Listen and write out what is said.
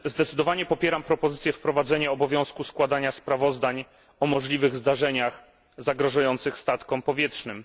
Zdecydowanie popieram propozycję wprowadzenia obowiązku składania sprawozdań o możliwych zdarzeniach zagrażających statkom powietrznym.